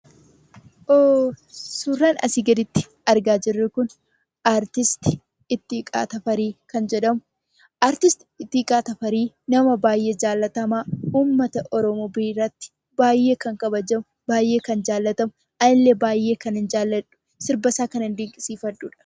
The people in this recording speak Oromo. Suuraan asi gaditti argaa jirru kun suuraa weellisaa Ittiiqaa Tafarii kan jedhamudha. Weellisaan Ittiiqaa Tafarii nama baay'ee jaallatamaa, uummata Oromoo biratti baay'ee kan kabajamudha. Anillee baay'ee kanan dinqisiifadhudha.